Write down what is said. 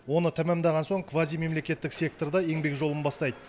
оны тәмамдаған соң квазимемлекеттік секторда еңбек жолын бастайды